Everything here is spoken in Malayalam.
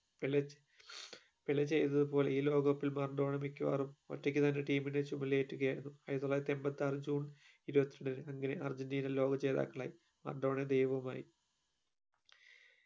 പെല പെലെ ചെയ്തത് പോലെ ഈ ലോക cup ൽ മറഡോണ മിക്കവാറും ഒറ്റക് തന്നെ team ഇനെ ചുമലിലേറ്റുകയായിരുന്നു ആയിരത്തിതൊള്ളായിരത്തി എമ്പതി ആർ june ണ്ടിന്‌ അങ്ങനെ അർജന്റീന ലോകചേതാക്കളായി മറഡോണ ദൈവവുമായി